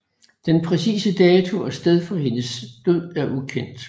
Den præcise dato og sted for hendes død er ukendt